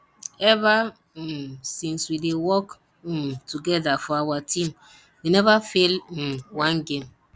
ever um since we dey work um together for our team we never fail um one game